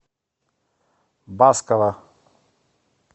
баскова